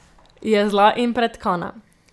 Je zla in pretkana.